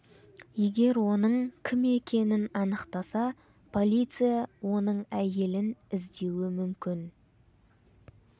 егер оның кім екенін анықтаса полиция оның әйелін іздеуі мүмкін